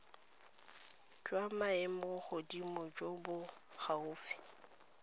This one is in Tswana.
jwa maemogodimo jo bo gaufi